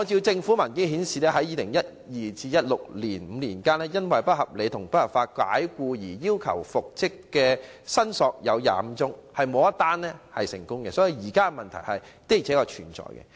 政府文件顯示，在2012年至2016年的5年間，因為"不合理及不合法解僱"而要求復職的申索有25宗，卻沒有一宗成功個案，所以現時問題確實存在。